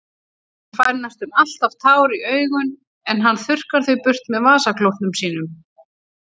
Hann fær næstum alltaf tár í augun en hann þurrkar þau burt með vasaklútnum sínum.